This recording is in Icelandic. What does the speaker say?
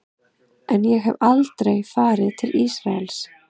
En ég hef aldrei farið til Ísraels.